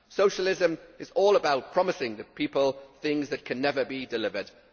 Socialism is all about promising people things that can never be delivered.